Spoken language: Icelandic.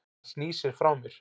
Hann snýr sér frá mér.